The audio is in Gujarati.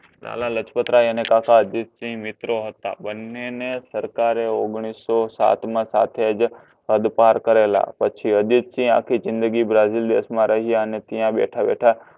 લાલાલાજપતરાય અને કાકા અર્જિતસિંહ મિત્રો હતા બંનેને સરકારે ઓગણીસો સાતમા સાથે જ હદપાર કરેલા પછી અર્જિતસિંહ આખી જિંદગી બ્રાજીલ દેશમાં રહ્યા અને ત્યાં બેઠા બેઠા